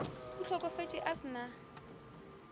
o hlokofetše a se na